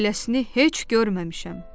Beləsini heç görməmişəm.